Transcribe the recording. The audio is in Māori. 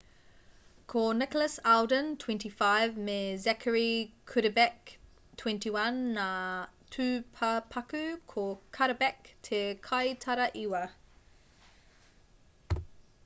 ko nicholas alden 25 me zachary cuddeback 21 ngā tūpapaku ko cudderback te kaitaraiwa